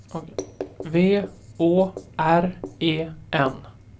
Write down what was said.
V Å R E N